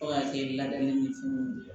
Fo ka kɛ ladamuni fu ye